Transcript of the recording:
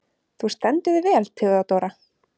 Þú stendur þig vel, Theódóra!